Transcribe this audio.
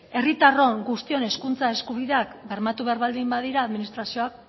herritarron guztion hizkuntza eskubideak bermatu behar baldin badira administrazioak